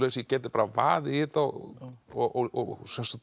ég gæti bara vaðið í þetta og og